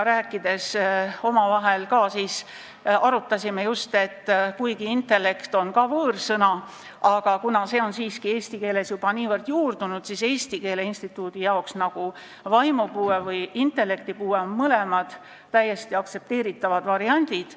Kuigi "intellekt "on ka võõrsõna, aga see on siiski eesti keeles juba niivõrd juurdunud, et Eesti Keele Instituudi arvates on "vaimupuue" ja "intellektipuue" mõlemad täiesti aktsepteeritavad variandid.